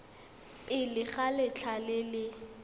pele ga letlha le le